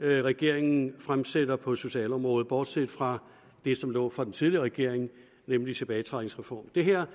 regeringen fremsætter på socialområdet bortset fra det som lå fra den tidligere regering nemlig tilbagetrækningsreformen det her